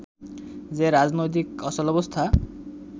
যে রাজনৈতিক অচলাবস্থা